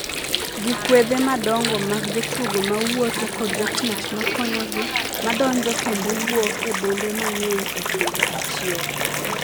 gi kwedhe madongo mag jotugo ma wuotho ​​kod jotich ma konyogi ma donjo kendo wuok e bombe mang’eny e kinde achiel